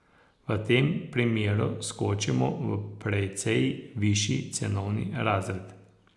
A v tem primeru skočimo v precej višji cenovni razred.